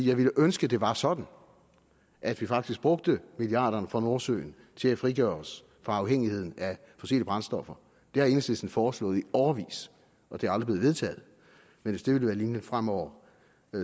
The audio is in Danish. jeg ville ønske at det var sådan at vi faktisk brugte milliarderne fra nordsøen til at frigøre os fra afhængigheden af fossile brændstoffer det har enhedslisten foreslået i årevis og det er aldrig blevet vedtaget men hvis det vil være linjen fremover